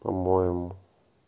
по-моему